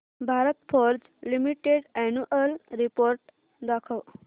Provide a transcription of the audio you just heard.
Bharat forge limited annual report दाखव